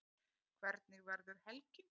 Hvernig verður helgin?